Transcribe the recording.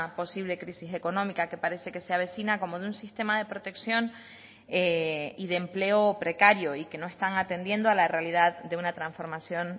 posible crisis económica que parece que se avecina como de un sistema de protección y de empleo precario y que no están atendiendo a la realidad de una transformación